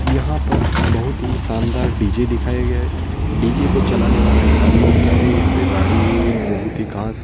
यहां पर बहोत ही शानदार डी_जे दिखाया गया है। डी_जे को चलाने वाला एक आदमी होता है। यहां पे गाड़ी बहोत ही खास--